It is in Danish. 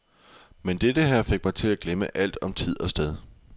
Men dette her fik mig til at glemme alt om tid og sted.